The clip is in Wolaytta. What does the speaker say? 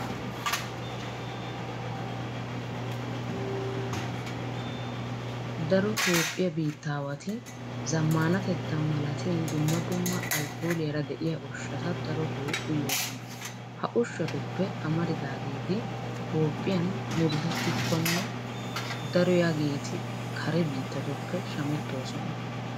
Daro toophphiya biittaawati zammaanatetta malatin dumma dumma alkkooliyara de'iya ushshata darotoo uyoosoona. Ha ushshatuppe amaridaageeti toophphiyan murutettikkonne daroyageeti kare biittatuppe shamettoosona.